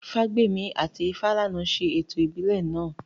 Ifágbèmí àti Ifálànà ṣe ètò ìbílẹ̀ náà